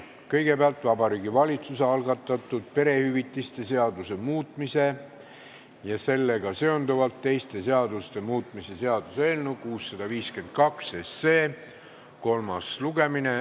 Kõigepealt on Vabariigi Valitsuse algatatud perehüvitiste seaduse muutmise ja sellega seonduvalt teiste seaduste muutmise seaduse eelnõu 652 kolmas lugemine.